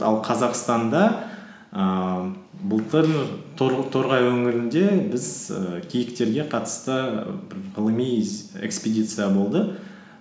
ал қазақстанда ііі былтыр торғай өңірінде біз і киіктерге қатысты ғылыми экспедиция болды